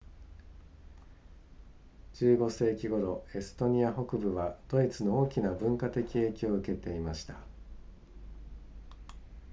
15世紀頃エストニア北部はドイツの大きな文化的影響を受けていました